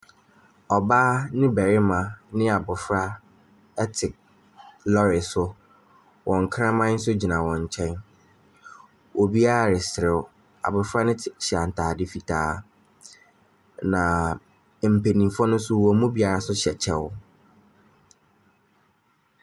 Ɔbaa ne barima ne abɔfra te lɔɔre so. Wɔn kraman nso gyina wɔn nkyɛn. Obiara reserew. Abofra no hyɛ ataade fitaa na mpanimfo no nso wɔn mu biara hyɛ kyɛw.